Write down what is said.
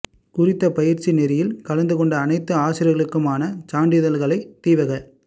குறித்த பயிற்சி நெறியில் கலந்து கொண்ட அனைத்து ஆசிரியர்களுக்குமான சான்றிதழ்களைத் தீவக